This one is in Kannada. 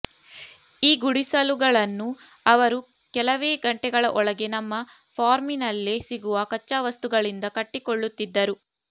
ಈ ಗುಡಿಸಲುಗಳನ್ನು ಅವರು ಕೆಲವೇ ಗಂಟೆಗಳ ಒಳಗೆ ನಮ್ಮ ಫಾರ್ಮಿನಲ್ಲೇ ಸಿಗುವ ಕಚ್ಚಾವಸ್ತುಗಳಿಂದ ಕಟ್ಟಿಕೊಳ್ಳುತ್ತಿದ್ದರು